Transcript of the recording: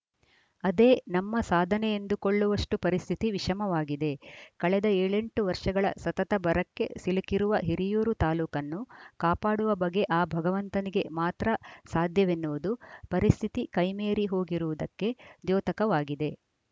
ಅದೇ ನಮ್ಮ ಸಾಧನೆಯೆಂದುಕೊಳ್ಳುವಷ್ಟುಪರಿಸ್ಥಿತಿ ವಿಷಮವಾಗಿದೆ ಕಳೆದ ಏಳೆಂಟು ವರ್ಷಗಳ ಸತತ ಬರಕ್ಕೆ ಸಿಲುಕಿರುವ ಹಿರಿಯೂರು ತಾಲೂಕನ್ನು ಕಾಪಾಡುವ ಬಗೆ ಆ ಭಗವಂತನಿಗೆ ಮಾತ್ರ ಸಾಧ್ಯವೆನ್ನುವುದು ಪರಿಸ್ಥಿತಿ ಕೈಮೀರಿ ಹೋಗಿರುವುದಕ್ಕೆ ದ್ಯೋತಕವಾಗಿದೆ